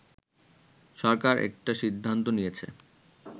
“সরকার একটা সিদ্ধান্ত নিয়েছে